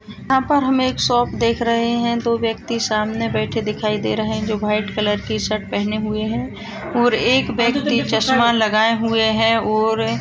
यहाँ पर हम एक शॉप देख रहे है दो व्यक्ति बैठे हुए दिखाई दे रहे है जो व्हाइट कलर की शर्ट पहने हुए है और एक व्यक्ति चश्मा लगाए हुए है और --